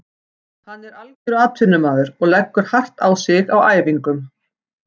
Hann er algjör atvinnumaður og leggur hart á sig á æfingum.